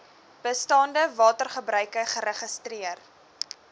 bestaande watergebruike geregistreer